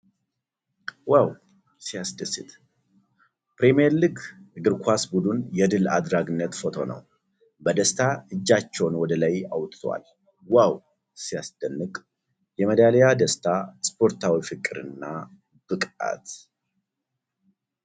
ዋው! ሲያስደስት! ፕሪሚየር ሊግ እግር ኳስ ቡድን የድል አድራጊነት ፎቶ ነው። በደስታ እጃቸውን ወደ ላይ አውጥተዋል ። ዋው! ሲያስደንቅ! የሜዳሊያ ደስታ! ስፖርታዊ ፍቅርና ብቃት!